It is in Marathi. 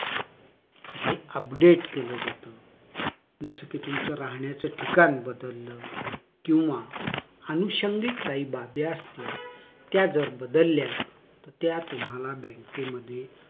हे update केलं जातं जस कि तुमचं राहण्याचं ठिकाण बदललं किंवा अनुषंगिक काही बाब्या असतील त्या जर बदलल्या तर त्या तुम्हाला बँकेमध्ये